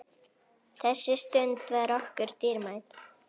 Þessi stund var okkur dýrmæt.